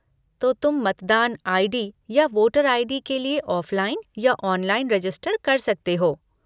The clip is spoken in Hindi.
तो तुम मतदान आई.डी. या वोटर आई.डी. के लिए ऑफलाइन या ऑनलाइन रेजिस्टर कर सकते हो।